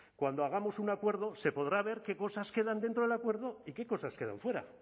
cuando hagamos un acuerdo se podrá ver qué cosas quedan dentro del acuerdo y qué cosas quedan fuera